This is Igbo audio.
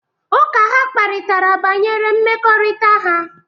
Ụka ha kparịtara bawanyere mmekọrịta ha.